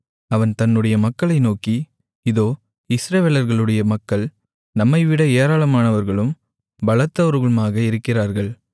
அவன் தன்னுடைய மக்களை நோக்கி இதோ இஸ்ரவேலர்களுடைய மக்கள் நம்மைவிட ஏராளமானவர்களும் பலத்தவர்களுமாக இருக்கிறார்கள்